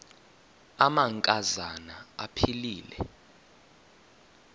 amanka zana aphilele